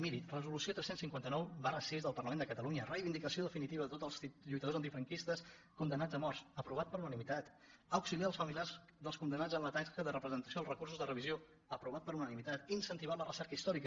miri resolució tres cents i cinquanta nou vi del parlament de catalunya reivindicació definitiva de tots els lluitadors antifranquistes condemnats a mort aprovat per unanimitat auxiliar els familiars dels condemnats en la tasca de presentació dels recursos de revisió aprovat per unanimitat incentivar la recerca històrica